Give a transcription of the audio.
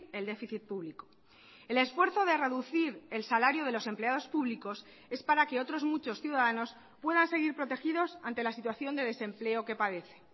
el déficit público el esfuerzo de reducir el salario de los empleados públicos es para que otros muchos ciudadanos puedan seguir protegidos ante la situación de desempleo que padece